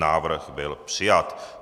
Návrh byl přijat.